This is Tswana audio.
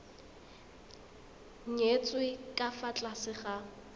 nyetswe ka fa tlase ga